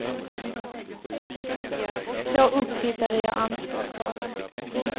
Två upphittare gör anspråk på den.